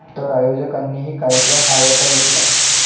तर आयोजकांनीही कार्यक्रम आवरता घेतला.